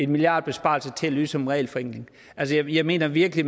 milliardbesparelse til at lyde som regelforenkling altså jeg mener virkelig